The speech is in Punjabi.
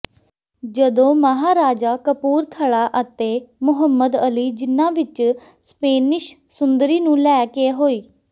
ਜਦੋਂ ਮਹਾਰਾਜਾ ਕਪੂਰਥਲਾ ਅਤੇ ਮੁਹੰਮਦ ਅਲੀ ਜਿੰਨਾ ਵਿੱਚ ਸਪੇਨਿਸ਼ ਸੁੰਦਰੀ ਨੂੰ ਲੈ ਕੇ ਹੋਈ